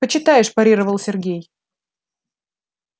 почитаешь парировал сергей